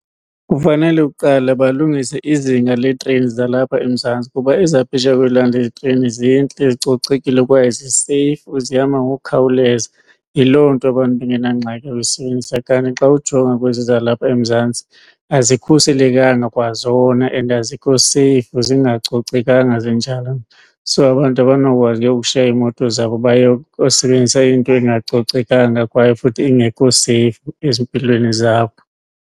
Kufanele kuqala balungise izinga leetreyini zalapha eMzantsi kuba ezaphesheya kwelwandle itreyini zintle zicocekile kwaye zi-seyifu zihamba ngokukhawuleza, yiloo nto abantu bengenangxaki uyisebenzisa. Kanti xa ujonga kwezi zalapha eMzantsi azikhuselekanga kwazona and azikho seyifu, zingacocekanga zinjalo nje. So abantu abanokwazi ke ukushiya iimoto zabo bayokusebenzisa into engacocekanga kwaye futhi ingekho seyifu ezimpilweni zabo.